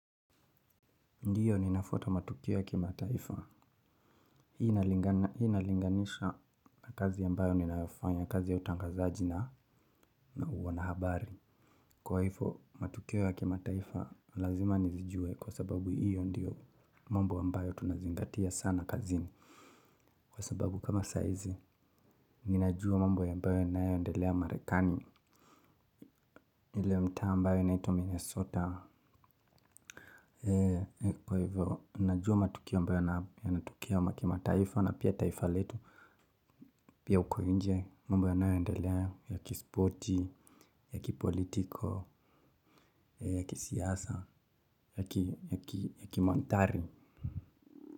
Ndio ninafuata matukio ya kimataifa. Hii nalinganisha na kazi ambayo ninayofanya, kazi ya utangazaji na uwana habari. Kwa hivyo, matukio ya kimataifa lazima nizijue kwa sababu hiyo ndio mambo ambayo tunazingatia sana kazini. Kwa sababu kama saa hiizi, ninajua mambo ambayo yanayoendelea marekani. Ile mtaa ambayo inaitwa Minnesota. Kwa hivyo, ninajua matukio ambayo yanatokea ya kimataifa na pia taifa letu. Pia huko nje, mambo yanayoendelea ya kispoti, ya kipolitiko, ya kisiasa, ya kimanthari.